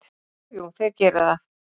Jú, jú, þeir gera það.